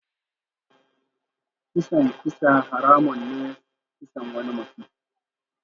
Kisan kisa haramun ne kisan wani mutum.